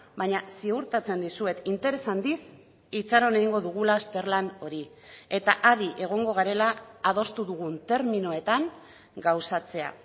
baina ziurtatzen dizuet interes handiz itxaron egingo dugula azterlan hori eta adi egongo garela adostu dugun terminoetan gauzatzea